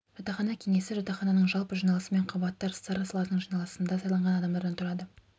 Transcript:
жатақхана кеңесі жатақхананың жалпы жиналысы мен қабаттар старосталарының жиналысында сайланған адамдардан тұрады